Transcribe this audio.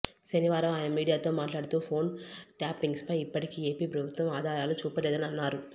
శనివారం ఆయన మీడియాతో మాట్లాడుతూ ఫోన్ ట్యాపింగ్పై ఇప్పటికీ ఏపీ ప్రభుత్వం ఆధారాలు చూపలేదని అన్నారు